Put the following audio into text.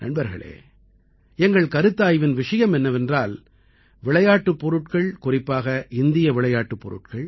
நண்பர்களே எங்கள் கருத்தாய்வின் விஷயம் என்னவென்றால் விளையாட்டுப் பொருட்கள் குறிப்பாக இந்திய விளையாட்டுப் பொருட்கள்